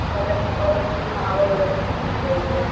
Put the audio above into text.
तेव्हा त्यांना प्रॉडक्ट्स ची नाव वैगेरे समजली पाहिजेत.